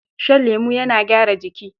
Shan lemo yana gyara jiki.